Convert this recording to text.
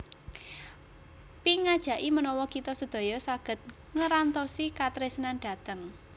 Pink ngajaki menawa kita sedaya saget ngerantosi katresnan dhateng